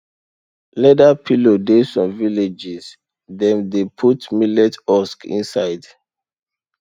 leather pillow dey some villages dem dey put millet husk inside